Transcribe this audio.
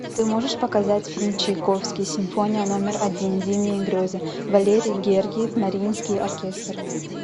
ты можешь показать фильм чайковский симфония номер один зимние грезы валерий гергиев мариинский оркестр